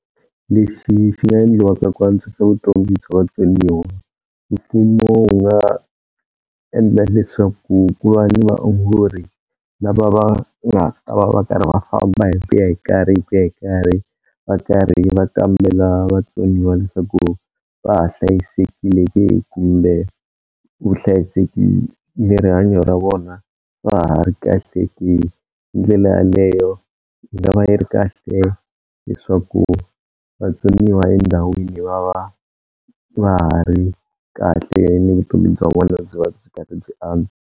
Leswi swi nga endliwaka ku antswisa vutomi bya vatsoniwa, mfumo wu nga endla leswaku ku va ni vaongori lava va nga ta va va karhi va famba hi ku ya hi karhi hi ku ya hi karhi va karhi va kambela vatsoniwa leswaku va ha hlayisekile ke kumbe vuhlayiseki ni rihanyo ra vona va ha ri kahle ke. Hi ndlela yaleyo yi nga va yi ri kahle leswaku vatsoniwa endhawini va va va ha ri kahle ni vutomi bya vona byi va byi karhi byi .